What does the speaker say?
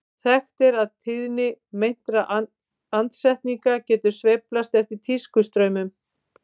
Þekkt er að tíðni meintra andsetninga getur sveiflast eftir tískustraumum.